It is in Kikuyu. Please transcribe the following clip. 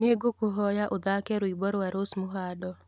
Nĩngũkũhoya ũthaake rwĩmbo rwa rose muhando